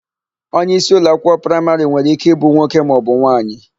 Onyeisi ụlọakwụkwọ praịmarị nwere íké ịbụ nwoke maọbụ nwaanyị.